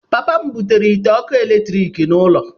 Papa m butere ite ọkụ eletrik n'ụlọ.